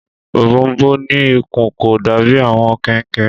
Ọ̀bọ̀ọ̀nbọọ̀n ní ikùn, kò dàbí àwọn kẹnkẹ.